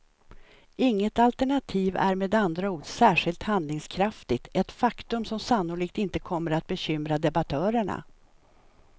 Inget alternativ är med andra ord särskilt handlingskraftigt, ett faktum som sannolikt inte kommer bekymra debattörerna.